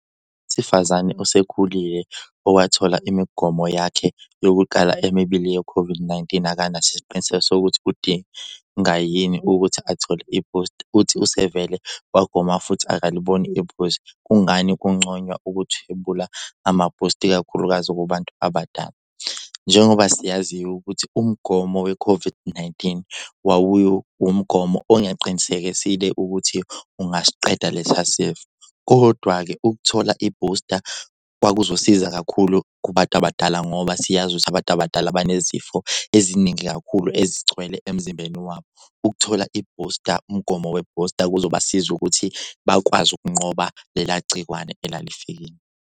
Sifazane osekhulile owathola imigomo yakhe yokuqala emibili ye-COVID-19 akanaso isiqiniseko sokuthi udinga yini ukuthi athole ibhusta. Uthi usevele wagoma futhi akaliboni iphuze. Kungani kungconywana ukuthwebula amabhusta, ikakhulukazi kubantu abadala? Njengoba siyazi ukuthi umgomo we-COVID-19 umgomo ongaqinisekisile ukuthi ungasiqeda lesa sifo. Kodwa-ke ukuthola ibhusta kwakuzosiza kakhulu kubantu abadala ngoba siyazi ukuthi abantu abadala banezifo eziningi kakhulu ezigcwele emzimbeni wabo. Ukuthola ibhusta umgomo webhusta kuzobasiza ukuthi bakwazi ukunqoba lela gciwane elalifikile.